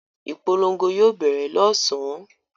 Ìpolongo yóò bẹ̀rẹ̀ lọ́sàn-án.